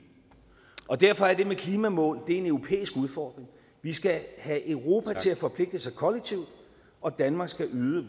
derfor er det med klimamål en europæisk udfordring vi skal have europa til at forpligte sig kollektivt og danmark skal yde